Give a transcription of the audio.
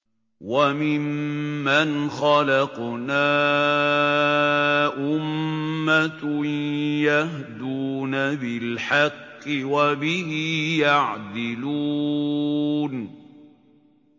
وَمِمَّنْ خَلَقْنَا أُمَّةٌ يَهْدُونَ بِالْحَقِّ وَبِهِ يَعْدِلُونَ